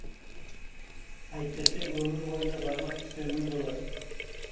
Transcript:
әйтпесе өмір бойына бармақ тістеумен боласың